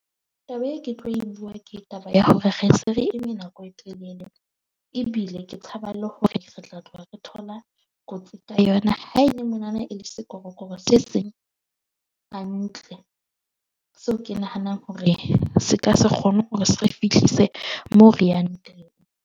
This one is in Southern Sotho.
Taba e ke tlo e bua. Ke taba ya hore re se re eme nako e telele ebile ke tshaba le hore re tla tloha re thola kotsi ka yona, ha e le mona na e le sekorokoro se seng hantle. So, ke nahanang hore se ka se kgone hore se re fihlise moo re yang teng.